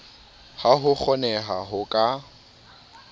ha ho kgonehe ho ka